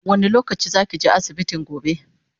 wani lokaci zakije asibiti gobe?